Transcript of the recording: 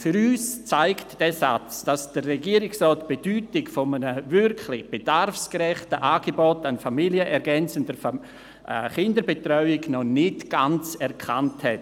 Für uns zeigt dieser Satz, dass der Regierungsrat die Bedeutung eines wirklich bedarfsgerechten Angebots an familienergänzender Kinderbetreuung noch nicht ganz erkannt hat.